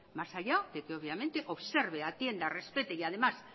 más allá de que obviamente observe atienda respete y además